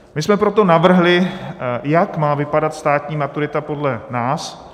My jsme proto navrhli, jak má vypadat státní maturita podle nás.